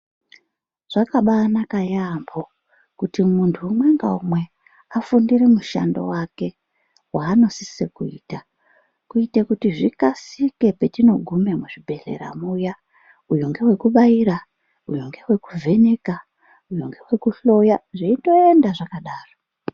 Zvakabanaka yampo kuti muntu umwe ngaumwe afundire mushando wake waanosise kuita kuitire kuti zvikasike petinogume muzvibhedhleya muya uyu ngewekubaira uyu ngewekuvheneka uyu ngewekuhloya zveindoenda zvakadaro.